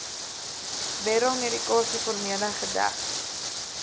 beryl medikasieformule gedek